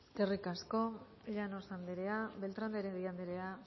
eskerrik asko llanos andrea beltran de heredia andrea